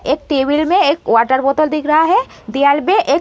एक टेबल में एक वाटर बॉटल दिख रहा है। दीवाल में एक --